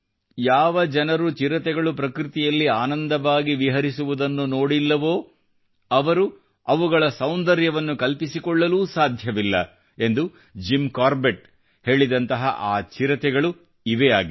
ಯಾವ ಜನರು ಚಿರತೆಗಳು ಪಕೃತಿಯಲ್ಲಿ ಆನಂದವಾಗಿ ವಿಹರಿಸುವುದನ್ನು ನೋಡಿಲ್ಲವೋ ಅವರು ಅವುಗಳ ಸೌಂದರ್ಯವನ್ನು ಕಲ್ಪಿಸಿಕೊಳ್ಳಲೂ ಸಾಧ್ಯವಿಲ್ಲ ಎಂದು ಜಿಮ್ ಕಾರ್ಬೆಟ್ ಹೇಳಿದಂತಹ ಆ ಚಿರತೆಗಳು ಇವೇ ಆಗಿವೆ